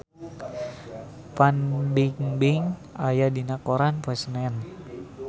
Fan Bingbing aya dina koran poe Senen